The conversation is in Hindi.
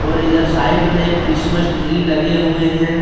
और इधर साइड में क्रिसमस ट्री लगे हुए हैं।